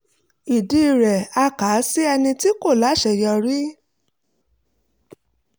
ìdílé rẹ̀ á kà á sí ẹni tí kò láṣeyọrí